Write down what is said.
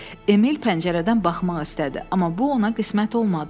Emil pəncərədən baxmaq istədi, amma bu ona qismət olmadı.